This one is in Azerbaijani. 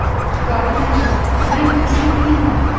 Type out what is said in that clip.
Qarı nənə, mən güclü deyiləm.